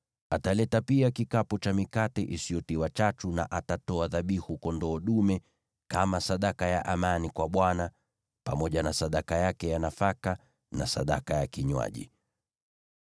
Ataleta pia kikapu cha mikate isiyotiwa chachu, na atatoa dhabihu kondoo dume kama sadaka ya amani kwa Bwana , pamoja na sadaka yake ya nafaka na sadaka ya kinywaji.